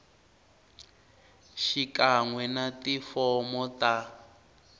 xikan we na tifomo ta